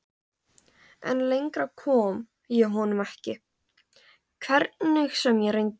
En lengra kom ég honum ekki, hvernig sem ég reyndi.